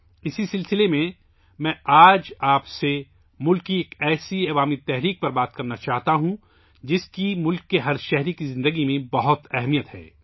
اس کڑی میں آج میں آپ سے ملک کی ایک ایسی عوامی تحریک پر بات کرنا چاہتا ہوں، جس کی ملک کے ہر شہری کی زندگی میں بہت اہمیت ہے